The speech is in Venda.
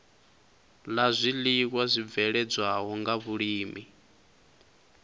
la zwiiwa zwibveledzwaho nga vhulimi